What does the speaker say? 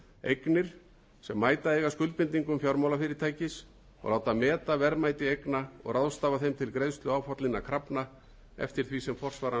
eignir sem mæta eiga skuldbindingum fjármálafyrirtækis og láta meta verðmæti eigna og ráðstafa þeim til greiðslu áfallinna krafna eftir því sem forsvaranlegt þykir